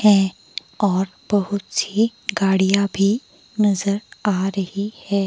है और बहुत सी गाड़ियां भी नजर आ रही हैं।